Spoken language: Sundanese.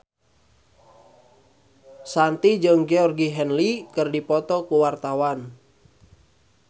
Shanti jeung Georgie Henley keur dipoto ku wartawan